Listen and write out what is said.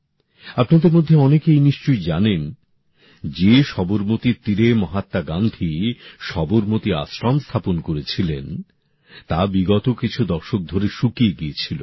আপনাদের মধ্যে অনেকেই নিশ্চয়ই জানেন যে সবরমতীর তীরে মহাত্মা গান্ধী সবরমতী আশ্রম স্থাপন করেছিলেন তা বিগত কিছু দশক ধরে শুকিয়ে গিয়েছিল